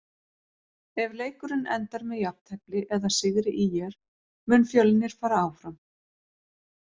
Ef leikurinn endar með jafntefli eða sigri ÍR mun Fjölnir fara áfram.